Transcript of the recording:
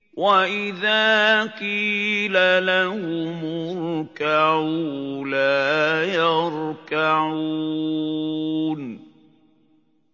وَإِذَا قِيلَ لَهُمُ ارْكَعُوا لَا يَرْكَعُونَ